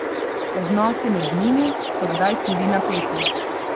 Odnosi med njimi so kdaj tudi napeti.